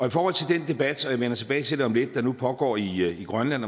i forhold til den debat og jeg vender tilbage til det om lidt der nu pågår i i grønland